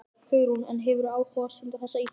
Hugrún: En hefurðu áhuga á að stunda þessa íþrótt?